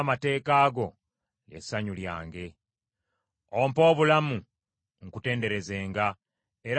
Ompe obulamu nkutenderezenga, era amateeka go gampanirirenga.